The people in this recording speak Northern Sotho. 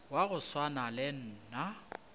wa go swana le nna